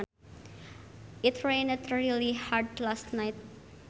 It rained really hard last night